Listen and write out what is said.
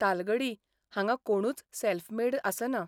तालगडी हांगां कोणूच self made आसना.